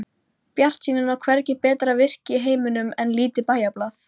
Bjartsýnin á hvergi betra virki í heiminum en lítið bæjarblað.